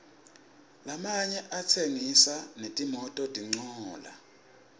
lamanye atsengisa netimototincola